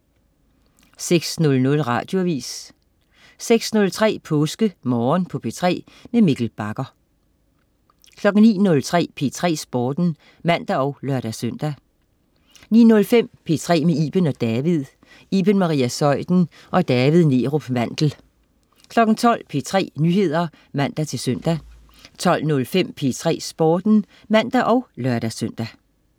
06.00 Radioavis 06.03 PåskeMorgen på P3. Mikkel Bagger 09.03 P3 Sporten (man og lør-søn) 09.05 P3 med Iben & David. Iben Maria Zeuthen og David Neerup Mandel 12.00 P3 Nyheder (man-søn) 12.05 P3 Sporten (man og lør-søn)